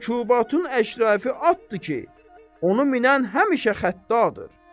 Mərkubatın əşraı atdır ki, onu minən həmişə xəttadır.